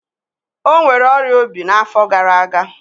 Ọ nwere ọrịa obi n'afọ gara aga.